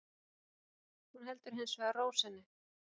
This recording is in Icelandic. Hún heldur hins vegar ró sinni